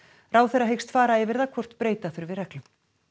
ráðherra hyggst fara yfir það hvort breyta þurfi reglum